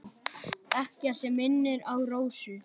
Ekkert sem minnir á Rósu.